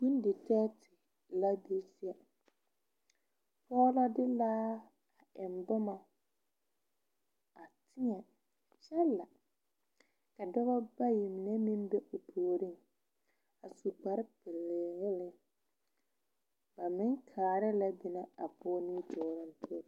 Bonditɛɛ la be a kyɛ pɔge la de laa eŋ boma a tuo kyɛ la ka dɔba bayi mine meŋ be o puoriŋ a su kparepelaa wogi a meŋ kaara lɛ pɛrete pɔge nimitɔɔreŋ.